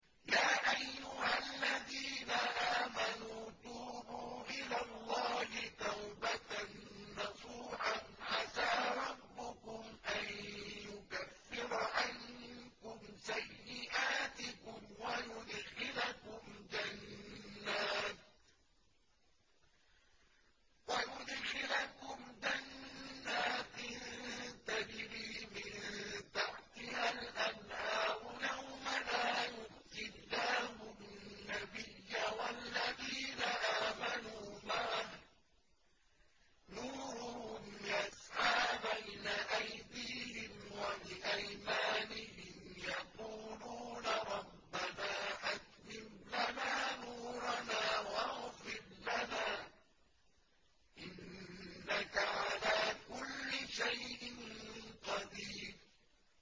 يَا أَيُّهَا الَّذِينَ آمَنُوا تُوبُوا إِلَى اللَّهِ تَوْبَةً نَّصُوحًا عَسَىٰ رَبُّكُمْ أَن يُكَفِّرَ عَنكُمْ سَيِّئَاتِكُمْ وَيُدْخِلَكُمْ جَنَّاتٍ تَجْرِي مِن تَحْتِهَا الْأَنْهَارُ يَوْمَ لَا يُخْزِي اللَّهُ النَّبِيَّ وَالَّذِينَ آمَنُوا مَعَهُ ۖ نُورُهُمْ يَسْعَىٰ بَيْنَ أَيْدِيهِمْ وَبِأَيْمَانِهِمْ يَقُولُونَ رَبَّنَا أَتْمِمْ لَنَا نُورَنَا وَاغْفِرْ لَنَا ۖ إِنَّكَ عَلَىٰ كُلِّ شَيْءٍ قَدِيرٌ